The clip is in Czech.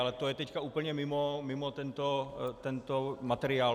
Ale to je teď úplně mimo tento materiál.